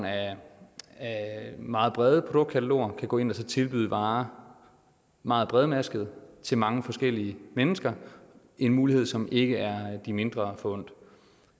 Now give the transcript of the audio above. af meget brede produktkataloger kan gå ind og tilbyde varer meget bredmasket til mange forskellige mennesker en mulighed som ikke er de mindre forundt